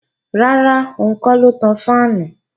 Rárá, òun kọ́ ló ń tan fáànù